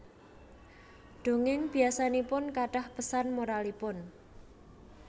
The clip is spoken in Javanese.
Dongéng biasanipun kathah pesan moralipun